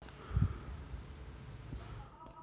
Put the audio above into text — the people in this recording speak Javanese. Blangkon Sundha saka bahan bathik ora nganggo mondholan